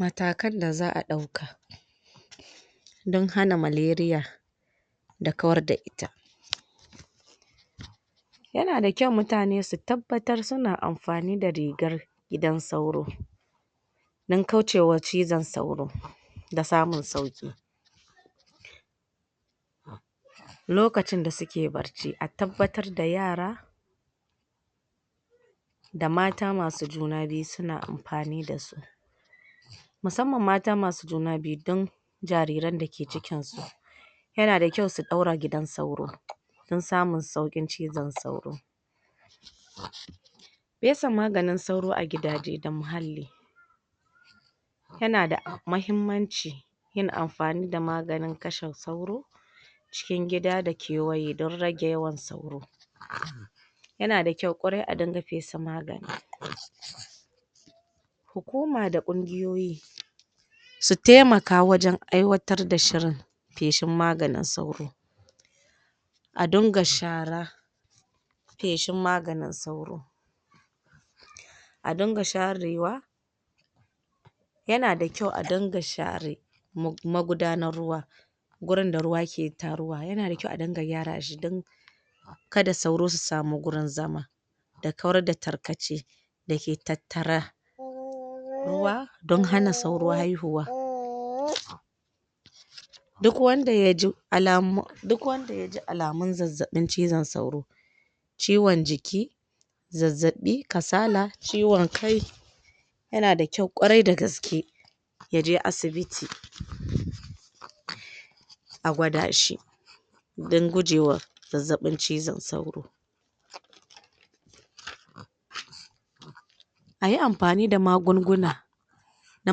matakan da zaʼa dauka don hana maleria da kawar da ita yanada kyau mutane su tabbatar suna amfanida rigar gidan sauro don kaucewa cizon sauro da samun sauki lokacinda suke barci a tabbatarda yara da mata masu juna biyu suna amfani dasu musamman mata masu juna biyu don jariran dake cikinsu yana da kyau su ɗaura gidan sauro don samun saukin cizon sauro fesa maganin sauro agidaje da muhalli yanada mahimmanci yin amfanida maganin kashe sauro cikin gida da kewaye don rage yawan sauro yanada kyau kwarai a dinga fesa magani hukuma da ƙungiyoyi su taimaka wajan aiwatar da shirin feshin maganin sauro a dunga shara feshin maganin sauro a dunga sharewa yanada kyau a dinga share magudanar ruwa gurinda ruwa ke taruwa yana da kyau a dinga gyarashi dan kada sauro su samu gurin zama da kawarda tarkache dake tattara ruwa don hana sauro haihuwa duk wanda yaji alamu duk wanda yaji alamun zazzabin cizon sauro ciwon jiki zazzaɓi, kasala, ciwon kai yanada kyau kwarai da gaske yaje asibiti a gwada shi dan gujewa zazzabi cizon sauro ayi amfani da magunguna na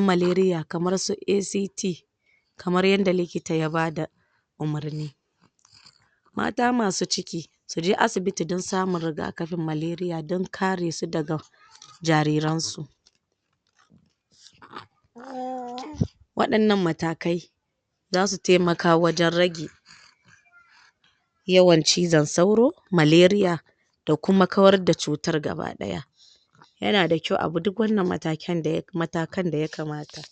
maleria kamar su ACT kamar yanda likita yabada umurni mata masu ciki suje asibiti dan samun rigakafin maleria dan karesu daga jariransu???? wadan nan matakai zasu taimaka wajan ragi yawan cizon sauro maleria da kuma kawar da cutar gaba daya yanada kyau abi duk wannan mataken daya matakan daya kamata